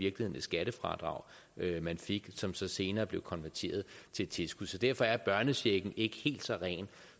et skattefradrag man fik som så senere blev konverteret til et tilskud så derfor er børnechecken ikke helt så ren